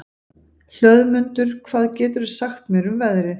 Hlöðmundur, hvað geturðu sagt mér um veðrið?